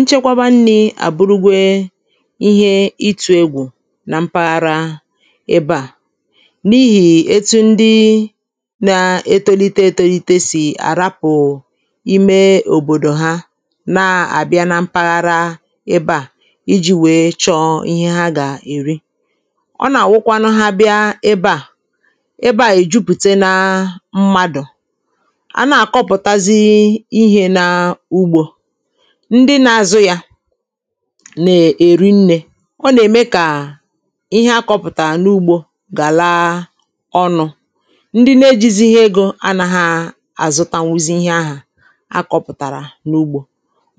nchekwaba nni̇ à burugwe ihe itù egwù na mpaghara ebe à n’ihì etu ndi na-etolite etelite sì àrapụ̀ ime òbòdò ha na-àbịa na mpaghara ebe à iji̇ wèe chọ̀ọ ihe ha gà-èri ọ nà-àwụkwanụ ha bịa ebe à ebe à èjupùte na mmadụ̀ ndị na-azụ yȧ nè èri nnė ọ nà-ème kà ihe akọpụ̀tà n’ugbȯ gà laa ọnụ̇ ndị na-ejizi ihe egȯ anȧha àzụtanwuzi ihe ahụ̀ akọ̇pụ̀tàrà n’ugbȯ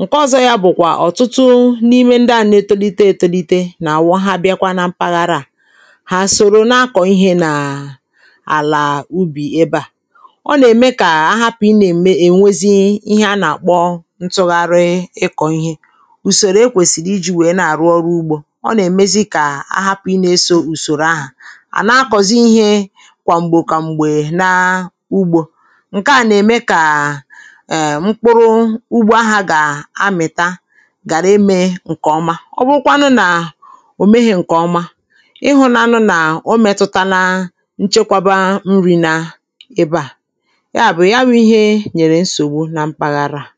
ǹke ọzọ yȧ bụ̀kwà ọ̀tụtụ n’ime ndị à na-etolite etolite nà-àwọha bịakwa na mpaghara à ha soro na-akọ̀ ihe nà àlà ubì ebe à ọ nà-ème kà a hapụ̀ ị nà-ème ènwezi ntụgharị ịkọ̀ ihe ùsòrò ekwèsìrì iji̇ wèe na-àrụ ọrụ ugbȯ ọ nà-èmezi kà a hapụ̀ inė eso ùsòrò ahà à na-akọ̀zi ihe kwà m̀gbè kwà m̀gbè na ugbȯ ǹke à nà-ème kà è mkpụrụ ugbȯ ahà gà-amị̀ta gàrà emė ǹkè ọma ọ bụrụkwa nụ nà ò meghị̇ ǹkè ọma ịhụ̇nȧnụ nà o mètụta na nchekwaba nri̇ nà ebe à ya bụ̀ ya wụ̀ ihe nyèrè nsògbu na mpaghara ha